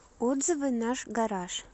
отзывы наш гараж